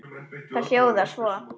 Það hljóðar svo